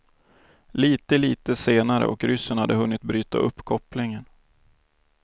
Lite, lite senare och ryssen hade hunnit bryta upp kopplingen.